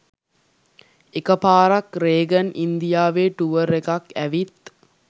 එක පාරක් රේගන් ඉන්දියාවෙ ටුවර් එකක් ඇවිත්